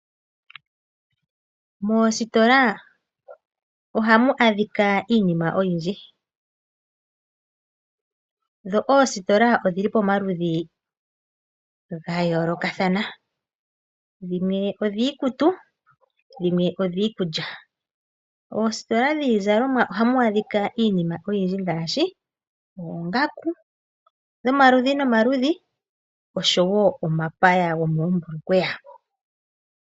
Moositola ohamu adhika iinima oyindji, dho oositola odhili pomaludhi gayolokathana dhimwe odhiikutu nadhimwe odhiikulya. Moositola dhiizalomwa ohaamwaadhika iinima ngaashi oongaku dhomaludhi nomaludhi nosho woo omapaya gomoombulukweya.